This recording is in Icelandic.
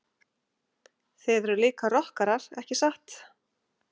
Þið eruð líka rokkarar ekki satt?